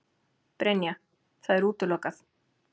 Brynja: Það er útilokað?